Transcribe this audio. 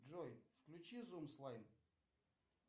джой включи зум слайм